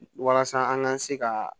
Walasa an ka se ka